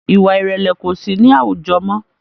Ìwà ìrẹ̀lẹ̀ kosi ni awujọ mọ́